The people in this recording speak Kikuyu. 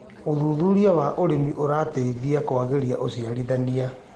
Ũthũthũrĩa wa ũrĩmĩ ũrateĩthĩa kũagĩrĩa ũcarĩthanĩa